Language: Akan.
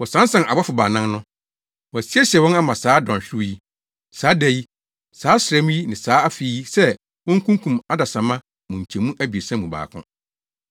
Wɔsansan abɔfo baanan no. Wɔasiesie wɔn ama saa dɔnhwerew yi, saa da yi, saa ɔsram yi ne saa afe yi sɛ wonkunkum adesamma mu nkyɛmu abiɛsa mu baako.